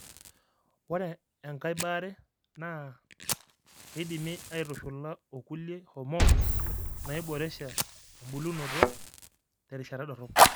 Ore enkae baare naa naa keidimi aitushula o kulie hormones naaiboresha embulunoto terishata dorop.